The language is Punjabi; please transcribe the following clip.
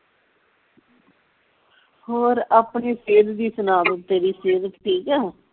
ਹੋਰ ਆਪਣੀ ਸਿਹਤ ਦੀ ਸੁਣਾ ਬਈ ਤੇਰੀ ਸਿਹਤ ਠੀਕ ਆ